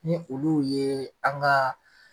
Ni olu ye an ka.